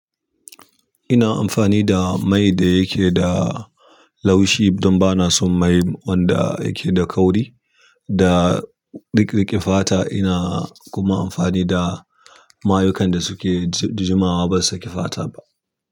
Ina amfani da mai da yake da laushi don ba na son mai wanda yake da kauri da riƙe fata. Ina kuma amfani da mayukan da suke jimawa ba su saki fata ba.